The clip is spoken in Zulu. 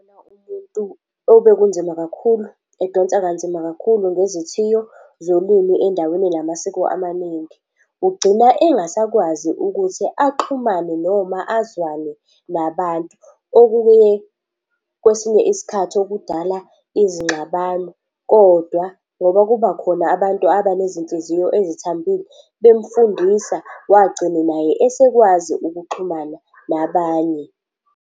Umuntu obekunzima kakhulu, edonsa kanzima kakhulu ngezithiyo zolimi endaweni enamasiko amaningi. Ugcina engasakwazi ukuthi axhumane noma azwane nabantu. Okubuye kwesinye isikhathi okudala izingxabano, kodwa ngoba kubakhona abantu abanezinhliziyo ezithambile, bemufundisa wagcina naye esekwazi ukuxhumana nabanye.